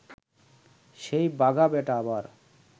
সেই বাঘা বেটা আবার